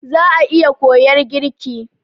Za'a iya koyar girki.